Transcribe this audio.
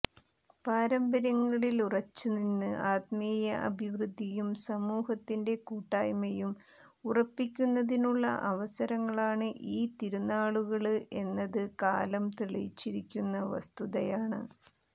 പാരമ്പര്യങ്ങളിലുറച്ചുനിന്ന് ആത്മീയ അഭിവൃദ്ധിയും സമൂഹത്തിന്റെ കൂട്ടായ്മയും ഉറപ്പിക്കുന്നതിനുള്ള അവസരങ്ങളാണ് ഈ തിരുനാളുകള് എന്നത് കാലം തെളിയിച്ചിരിക്കുന്ന വസ്തുതയാണ്